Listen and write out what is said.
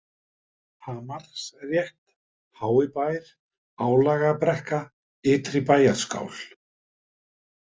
Hamarsrétt, Háibær, Álagabrekka, Ytri-Bæjarskál